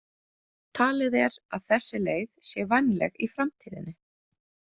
Talið er að þessi leið sé vænleg í framtíðinni.